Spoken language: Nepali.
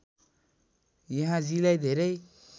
यहाँजीलाई धेरै